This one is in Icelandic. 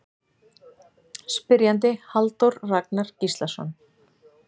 Spyrjandi Halldór Ragnar Gíslason